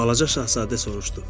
Balaca şahzadə soruşdu: